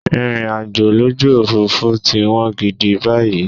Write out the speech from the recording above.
Ìrìnàjò lójú Òfurufú ti wọ́n gidi báyìí.